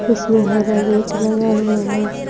इसमें हरा गेट लगा हुआ है।